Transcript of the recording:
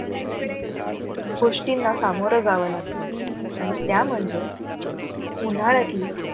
गोष्टींना सामोर जाव लागत आणि त्या म्हणजे उन्हाळ्यातली